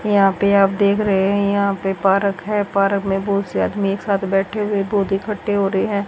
यहां पे आप देख रहे हैं यहां पे पारक है पारक में बहोत से आदमी एक साथ बैठे हुए बहुत इकट्ठे हो रहे हैं।